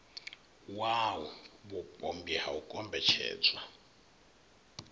wau vhupombwe ha u kombetshedzwa